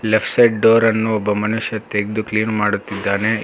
left side ಡೋರನ್ನು ಒಬ್ಬ ಮನುಷ್ಯ ತೆಗ್ದು ಕ್ಲೀನ್ ಮಾಡುತ್ತಿದ್ದಾನೆ ಏ--